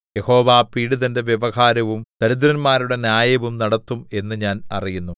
യഹോവ പീഡിതന്റെ വ്യവഹാരവും ദരിദ്രന്മാരുടെ ന്യായവും നടത്തും എന്ന് ഞാൻ അറിയുന്നു